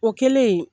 O kɛlen